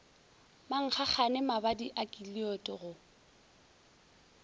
mankgagane mabadi a keliod go